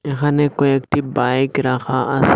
এখানে কয়েকটি বাইক রাখা আসে।